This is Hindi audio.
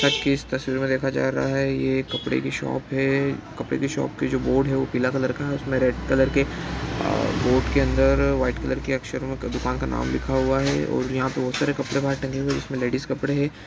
ता की इस तस्वीर मैं देखा जा रहा हैं यह ए कपडे की शॉप हैं कपडे की शॉप की जो बोर्ड हैं वो पीला कलर का उसमे रेड कलर के बोर्ड के अंदर व्हाइट कलर के अक्षरो मैं दुकान का नाम लिखा हुआ हैं और यहाँ पे बोहोत सारे कपडे बाहर टंगे हुए हैं जिसमे लेडीज कपडे हैं।